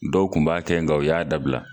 Dɔw Kun b'a kɛ nga u y'a dabila.